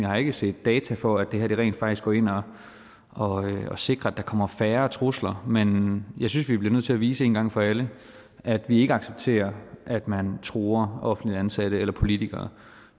har ikke set data for at det her rent faktisk går ind og og sikrer at der kommer færre trusler men jeg synes vi bliver nødt til at vise én gang for alle at vi ikke accepterer at man truer offentligt ansatte eller politikere